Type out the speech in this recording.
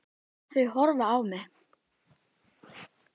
Þau horfa á mig.